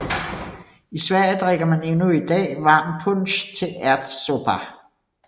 I Sverige drikker man endnu i dag varm punsch til ärtsoppa